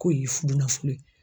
K'o ye fudunafolo ye.